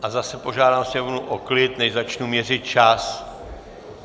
A zase požádám sněmovnu o klid, než začnu měřit čas.